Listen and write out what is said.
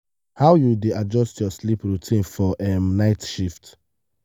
how you dey adjust your sleep routine for um night shifts?